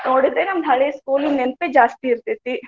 ನೋಡಿದ್ರೆ ನಮ್ ಹಳೆ school ಇನ್ ನೆನಪೇ ಜಾಸ್ತಿ ಇರ್ತೆತಿ .